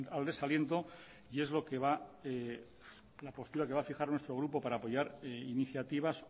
al desaliento y es la postura que va a fijar nuestro grupo para apoyar iniciativas